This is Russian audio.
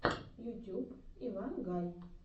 ютюб иван гай